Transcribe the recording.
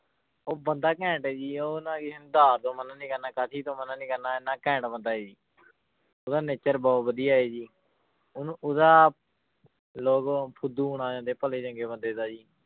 ਉਹ ਬੰਦਾ ਘੈਂਟ ਹੈ ਜੀ ਉਹ ਨਾ ਕਿਸੇ ਨੂੰ ਉਧਾਰ ਤੋਂ ਮਨਾ ਨੀ ਕਰਨਾ ਤੋਂ ਮਨਾ ਨੀ ਕਰਨਾ ਇੰਨਾ ਘੈਂਟ ਬੰਦਾ ਹੈ ਜੀ ਉਹਦਾ nature ਬਹੁਤ ਵਧੀਆ ਹੈ ਜੀ ਉਹਨੂੰ ਉਹਦਾ ਲੋਕ ਫੁਦੂ ਬਣਾ ਜਾਂਦੇ ਭਲੇ ਚੰਗੇ ਬੰਦੇ ਦਾ ਜੀ